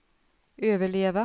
överleva